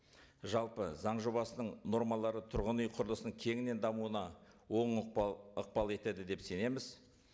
жалпы заң жобасының нормалары тұрғын үй құрылысының кеңінен дамуына оң ықпал етеді деп сенеміз